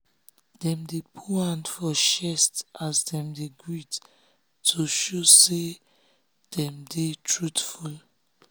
dem dey put hand for chest as dem dey greet to show say dem dey truthful.